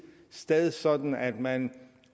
sted sådan at man